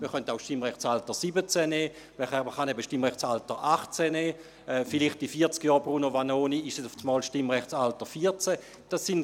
man könnte auch das Stimmrechtsalter 17 nehmen oder das Stimmrechtsalter 18. Bruno Vanoni, vielleicht wird es in vierzig Jahren einmal das Stimmrechtsalter 14 sein.